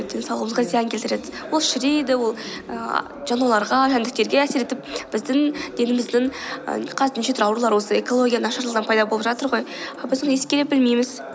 денсаулығымызға зиян келтіреді ол шірейді ол ііі жануарларға жәндіктерге әсер етіп біздің деніміздің ы қазір неше түрлі аурулар осы экология нашарлаудан пайда болып жатыр ғой а біз оны искелеп білмейміз